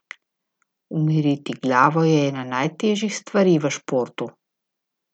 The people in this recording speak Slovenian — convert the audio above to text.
Umiriti glavo je ena najtežjih stvari v športu.